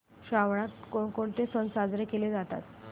श्रावणात कोणकोणते सण साजरे केले जातात